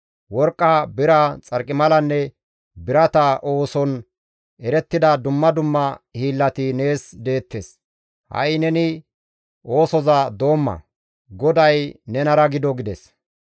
Worqqa, bira, xarqimalanne birata ooson erettida dumma dumma hiillati nees deettes; ha7i neni oosoza doomma; GODAY nenara gido» gides.